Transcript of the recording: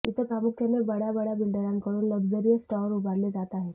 इथं प्रामुख्याने बड्याबड्या बिल्डरांकडून लक्झरिअस टाॅवर उभारले जात आहेत